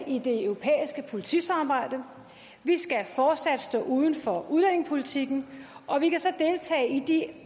i det europæiske politisamarbejde vi skal fortsat stå uden for udlændingepolitikken og vi kan så deltage i de